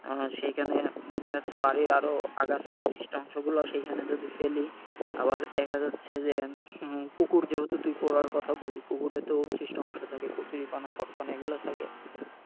আহ সেইখানে দেখা যাচ্ছে বাড়ির আরও আগাছা উৎছিষ্ট অংশগুলো সেইখানে যদি ফেলি আবার দেখা যাচ্ছে যে হম পুকুর যেহেতু তুই করার কথা বললি পুকুরে তো উৎছিষ্ট অংশ থাকে কচুরীপানা পপটন এগুলো থাকে,